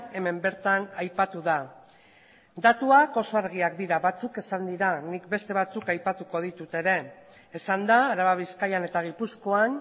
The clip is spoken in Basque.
hemen bertan aipatu da datuak oso argiak dira batzuk esan dira nik beste batzuk aipatuko ditut ere esan da araba bizkaian eta gipuzkoan